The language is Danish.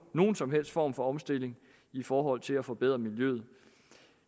nogen som helst form for omstilling i forhold til at forbedre miljøet